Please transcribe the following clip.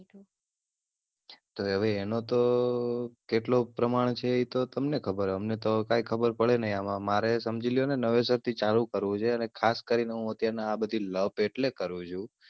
તો હવે એનો તો કેટલો પ્રમાણ છે એતો તમને ખબર અમને તો કાય ખબર પડે નય આમાં મારે સમજી લ્યોને નવેસરથી ચાલુ કરવું છે અને ખાસ કરીને હું અત્યાર માં આ લપ અટલે કરું છુ